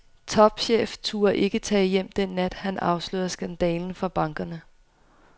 Topchef turde ikke tage hjem den nat, han afslørede skandalen for bankerne.